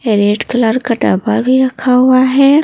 ये red colour का डब्बा भी रखा हुआ है।